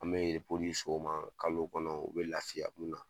An me yen ma kalo kɔnɔ u bɛ lafiya na